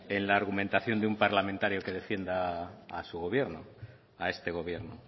la argumentación de un parlamentario que defienda a su gobierno a este gobierno